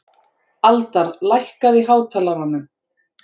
Aldar, lækkaðu í hátalaranum.